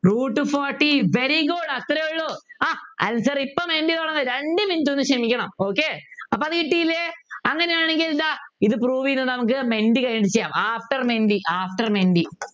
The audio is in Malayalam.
root forty very good അത്രേയുള്ളൂ ആഹ് Answer ഇപ്പൊ മെൻറ്റി തുടങ്ങും രണ്ട് Minute ഒന്ന് ക്ഷമിക്കണം Okay അപ്പൊ കിട്ടിയില്ലേ അങ്ങനെയാണെങ്കിൽ ഇതാ ഇത് Prove ചെയ്ത് നമുക്ക് മെൻറ്റി കഴിഞ്ഞിട്ട് After മെൻറ്റി After മെൻറ്റി